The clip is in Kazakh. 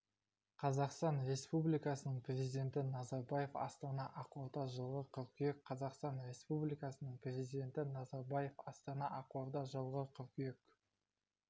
қазақстан республикасының президенті назарбаев астана ақорда жылғы қыркүйек қазақстан республикасының президенті назарбаев астана ақорда жылғы қыркүйек